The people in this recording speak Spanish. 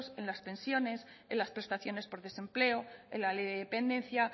en las tensiones en las prestaciones por desempleo en la ley de dependencia